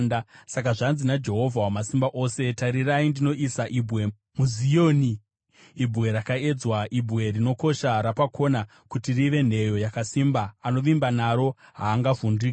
Saka zvanzi naJehovha Wamasimba Ose: “Tarirai ndinoisa ibwe muZioni, ibwe rakaedzwa, ibwe rinokosha rapakona kuti rive nheyo yakasimba; anovimba naro haangavhunduki.